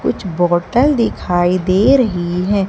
कुछ बोटल दिखाई दे रही है।